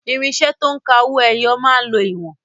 Irinṣẹ́ to ń ka owó ẹyọ máa ń lo ìwọ̀n.